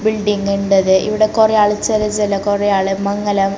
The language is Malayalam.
ബിൽഡിങ്ങിന്റെത് ഇവിടെ കുറെ ആള് ചെല ചെല കുറെ ആള് മംഗലം--